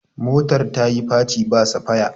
motar ta yi faci ba safaya